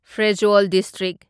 Pherzawl district.